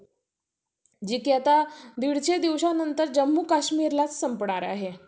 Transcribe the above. एक प्रश्न असतोच कि आपण कशामध्ये शिक्षण घ्यावे uhh कोणत्या college मद्ये प्रवेश ग्यावा आणि कोणत्या विषयामधून पुढचे शिक्षण घ्यावे